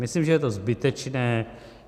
Myslím, že je to zbytečné.